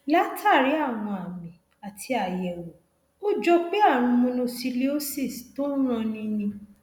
látàrí àwọn àmì àti àyẹwò ó jọ pé ààrùn mononucleosis tó ń ranni ni